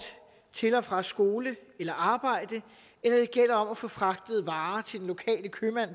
til og fra skole eller arbejde eller gælder om at få fragtet varer til den lokale købmand